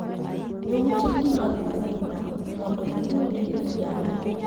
E utegi mag pondo mondo giriwre gi oganda.